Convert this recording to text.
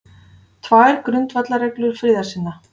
Tvær grundvallarreglur friðarsinna